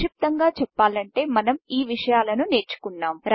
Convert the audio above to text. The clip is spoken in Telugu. సంక్షిప్తంగా చేపలంటే మనం ఈ విషయాలను నేర్చుకొన్నం